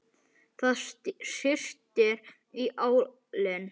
Það syrtir í álinn.